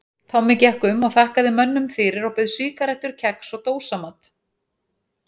Tommi gekk um og þakkaði mönnum fyrir og bauð sígarettur kex og dósamat.